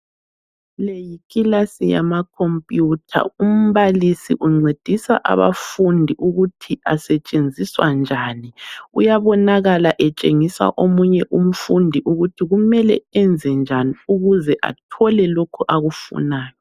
Le yikilasi yamakhompiyutha. Umbalisi uncedisa abafundi ukuthi asetshenziswa njani. Uyabonakala etshengisa omunye umfundi ukuthi kumele enzenjani ukuze athole lokho akufunayo.